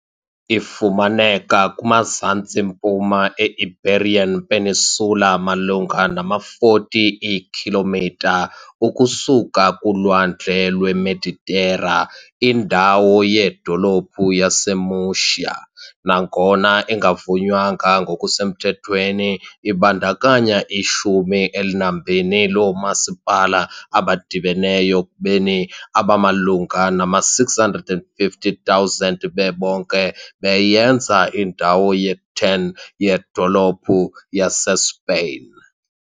Ifumaneka kumazantsi-mpuma e- Iberian Peninsula malunga nama-40 Iikhilomitha ukusuka kuLwandle lweMeditera, indawo yedolophu yaseMurcia, nangona ingavunywanga ngokusemthethweni, ibandakanya ishumi elinambini loomasipala abadibeneyo ekubeni abamalunga nama-650,000 bebonke, beyenza indawo ye-10 yedolophu yaseSpain.